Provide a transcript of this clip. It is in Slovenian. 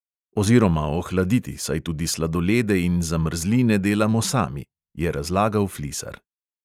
"Oziroma ohladiti, saj tudi sladolede in zamrzline delamo sami," je razlagal flisar.